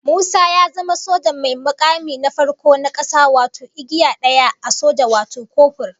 Musa ya zama soja mai mukami na farko na kasa wato igiya daya a soja wato kofur